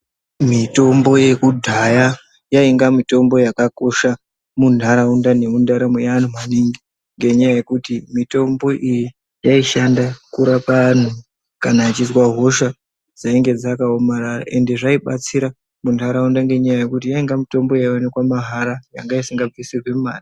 Mitombo yekudhaya yaiya mitombo yakakosha muntaraunda nemundaramo mweantu maningi ngenyaya yekuti mitombo iyi yaishanda kurapa antu kana achizwa hosha dzenge dzakaomarara ende zvainatsira muntaraunda ngekuti yainga mitombo inooneka mahara isingabvisirwi mare.